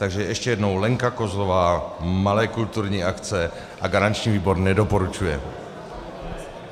Takže ještě jednou - Lenka Kozlová, malé kulturní akce a garanční výbor nedoporučuje.